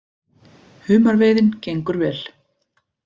Humarveiðin gengur vel